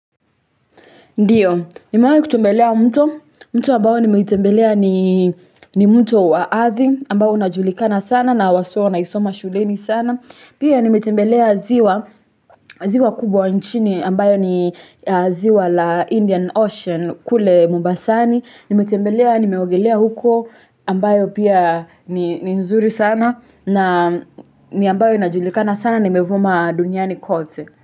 Ndiyo, nimewai kutembelea mtu, mtu ambayo nimetembelea ni mtu wa athi ambayo unajulikana sana na wasuwa na isoma shuleni sana. Pia nimetembelea ziwa, ziwa kubwa nchini ambayo ni ziwa la Indian Ocean kule Mubasani. Nimetembelea, nimeogelea huko ambayo pia ni nzuri sana na ni ambayo inajulikana sana na imevuma duniani kote.